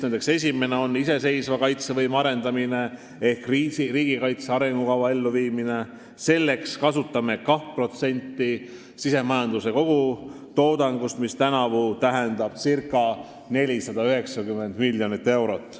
Nendest esimene on iseseisva kaitsevõime arendamine ehk riigikaitse arengukava elluviimine, selleks kasutame 2% sisemajanduse kogutoodangust, mis tänavu tähendab circa 490 miljonit eurot.